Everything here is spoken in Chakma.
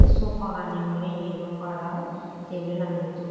ey sofa gani awle yelo kalar tebilani dup.